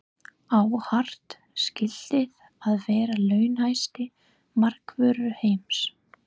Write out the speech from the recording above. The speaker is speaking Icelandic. Á Hart skilið að vera launahæsti markvörður heims?